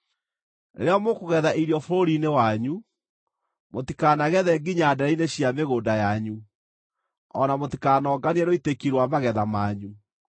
“ ‘Rĩrĩa mũkũgetha irio bũrũri-inĩ wanyu, mũtikanagethe nginya ndeere-inĩ cia mĩgũnda yanyu, o na mũtikanonganie rũitĩki rwa magetha manyu.